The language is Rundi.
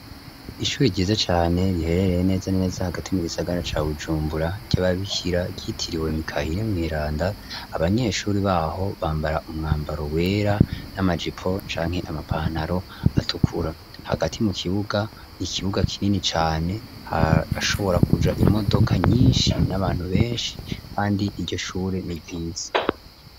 Ishuri ryiza cane riherereye neza neza hagati mu gisagara ca Bujumbura ry'ababikira yitiriwe Mikaheri mweranda. Abanyeshuri baho bambara umwambaro wera n'amajipo canke amapantaro atukura hagati mu kibuga nikibuga kinini cane hashobora kuja imodoka nyinshi n'abantu benshi kandi ijyoshure niryiza.